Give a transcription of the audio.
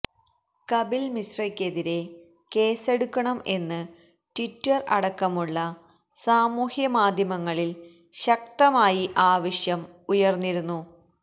കപില് മിശ്രയ്ക്ക് എതിരെ കേസെടുക്കണം എന്ന് ട്വിറ്റര് അടക്കമുളള സാമൂഹ്യ മാധ്യമങ്ങളില് ശക്തമായി ആവശ്യം ഉയര്ന്നിരുന്നു